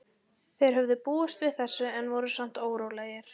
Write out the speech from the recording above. Þeir höfðu búist við þessu en voru samt órólegir.